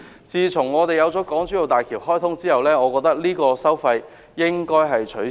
自從港珠澳大橋開通後，這收費應該取消。